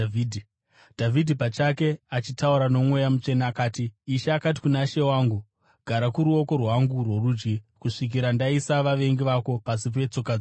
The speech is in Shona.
Dhavhidhi pachake achitaura noMweya Mutsvene, akati: “ ‘Ishe akati kuna She wangu: “Gara kuruoko rwangu rworudyi kusvikira ndaisa vavengi vako pasi petsoka dzako.” ’